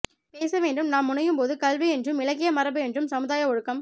பேச வேண்டும் நாம் முனையும் போது கல்வி என்றும் இலக்கிய மரபு என்றும் சமுதாய ஒழுக்கம்